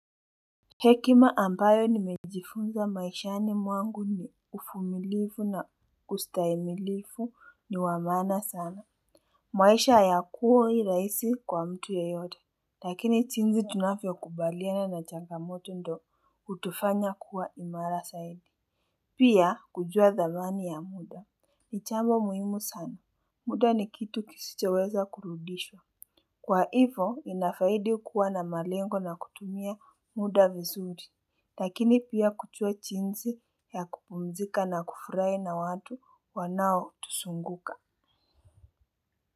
Hekima ambayo nimejifunza maishani mwangu ni ufumilifu na ustaimilifu ni wa maana sana. Maisha ayakuhoi raisi kwa mtu yeyote. Lakini jinzi tunafyo kubaliana na changamoto ndo utufanya kuwa imara zaidi. Pia kujua dhamani ya muda nichambo muhimu sana, muda ni kitu kisichoweza kurudishwa. Kwa hivo inafaidi kuwa na malengo na kutumia muda vizuri. Lakini pia kujua jinsi ya kupumzika na kufurahi na watu wanao tusunguka.